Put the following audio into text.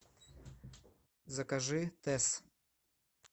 закажи тесс